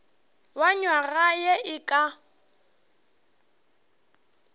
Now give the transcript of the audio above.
wa nywaga ye e ka